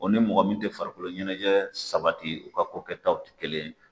Ɔ ni mɔgɔ min tɛ farikolo ɲɛnajɛ sabati o ka ko kɛ taw tɛ kelen ye.